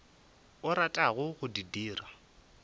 o ratago go di dira